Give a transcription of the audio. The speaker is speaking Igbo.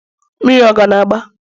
mmiri ọ ka na-agba?